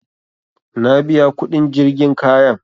Na biya kuɗin jirgin kayan